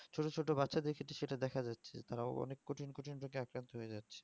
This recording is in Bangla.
ছোট ছোট্ট বাচ্চা দেড় সাথে সেটা দেখা যাচ্ছে মানে অনেক কঠিন কঠিন রোগে আক্রান্ত হয়েযাচ্ছে